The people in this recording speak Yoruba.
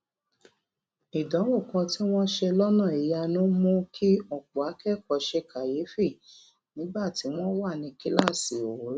ìdánwò kan tí wón ṣe lónà ìyanu mú kí òpò akékòó ṣe kàyéfì nígbà tí wón wà ní kíláàsì òwúrò